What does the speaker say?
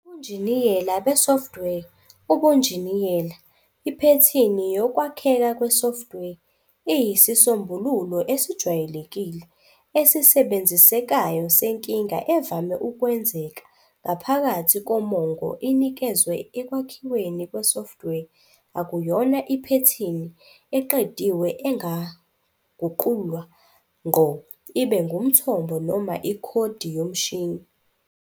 Ebunjiniyela be-software, ubunjiniyela, iphethini yokwakheka kwesoftware iyisisombululo esijwayelekile, esisebenzisekayo senkinga evame ukwenzeka ngaphakathi komongo inikezwe ekwakhiweni kwesoftware. Akuyona iphethini eqediwe engaguqulwa ngqo ibe ngumthombo noma ikhodi yomshini.